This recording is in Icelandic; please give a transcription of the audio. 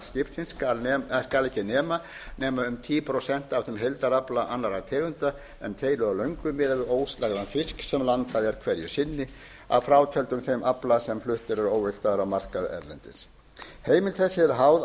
aflamarks skipsins skal ekki nema nema um tíu prósent af þeim heildarafla annarra tegunda en keilu og löngu miðað við óslægðan fisk sem landað er hverju sinni að frátöldum þeim afla sem fluttur er óvigtaður á markað erlendis heimild sessi